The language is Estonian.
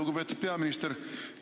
Lugupeetud peaminister!